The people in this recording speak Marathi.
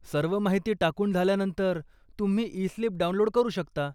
सर्व माहिती टाकून झाल्यानंतर, तुम्ही ई स्लीप डाऊनलोड करू शकता.